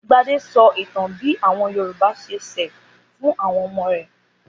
Gbadé sọ ìtàn bí àwọn Yorùbá ṣe ṣẹ̀ fún àwọn ọmọ rẹ̀.